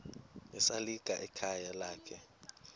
esalika ekhayeni lakhe